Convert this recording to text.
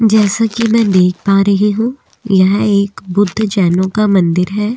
जैसा कि मैं देख पा रही हूँ यह एक बुद्ध जैनो का मंदिर हैं।